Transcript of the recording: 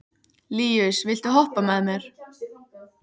Líus, viltu hoppa með mér?